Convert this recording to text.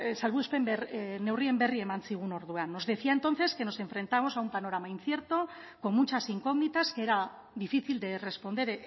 salbuespen neurrien berri eman zigun orduan nos decía entonces que nos enfrentamos a un panorama incierto con muchas incógnitas que era difícil de responder